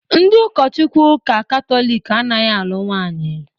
Ndị ụkọchukwu Ụka Katọlik anaghị alụ nwaanyị.